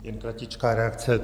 Jen kratičká reakce.